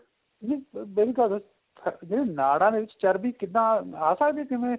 ਇਹ ਅਹ ਜਿਹੜੀ ਨਾੜਾ ਨੇ ਉਹਦੇ ਵਿੱਚ ਚਰਬੀ ਆ ਸਕਦੀ ਆ ਕਿਵੇਂ